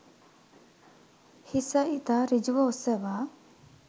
හිස ඉතා ඍජුව ඔසවා